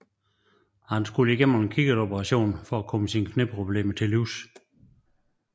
Han skulle igennem en kikkertoperation for at komme sine knæproblemer til livs